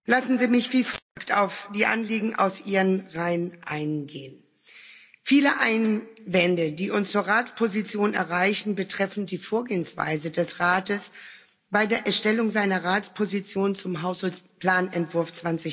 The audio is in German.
Lassen Sie mich wie folgt auf die Anliegen aus Ihren Reihen eingehen Viele Einwände, die uns zur Ratsposition erreichen, betreffen die Vorgehensweise des Rates bei der Erstellung seiner Ratsposition zum Haushaltsplanentwurf